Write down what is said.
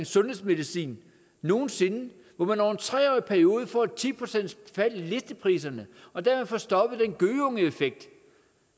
sundhedsmedicin nogen sinde hvor man over en tre årig periode får et ti procent i listepriserne og dermed får stoppet den gøgeungeeffekt